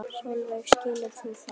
Sólveig: Skilur þú það?